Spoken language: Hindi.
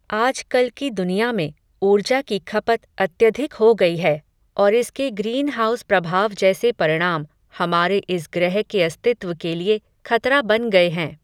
आज कल की दुनिया में, ऊर्जा की खपत अत्यधिक हो गई है, और इसके ग्रीन हाउस प्रभाव जैसे परिणाम, हमारे इस ग्रह के अस्तित्व के लिए, खतरा बन गए हैं